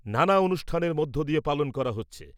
নানা অনুষ্ঠানের মধ্য দিয়ে পালন করা হচ্ছে ।